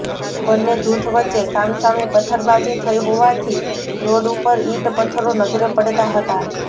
બન્ને જુથ વચ્ચે સામસામી પથ્થરબાજી થઈ હોવાથી રોડ ઉપર ઇંટ પત્થરો નજરે પડતાં હતાં